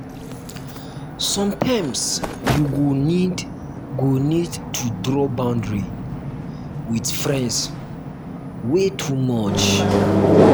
sometimes you go need go need to draw boundary with friends wey too much.